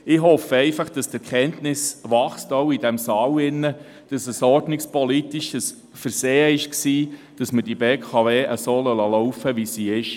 Ich hoffe einfach, die Erkenntnis sei auch in diesem Saal gewachsen, dass es ein ordnungspolitisches Versehen war, dass wir die BKW so laufen lassen, wie sie ist.